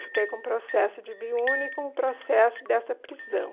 Eu fiquei com o processo de biúnia e com o processo dessa prisão.